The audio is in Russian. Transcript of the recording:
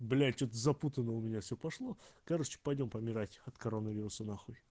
блять что-то запутано у меня все пошло короче пойдём помирать от коронавируса нахуй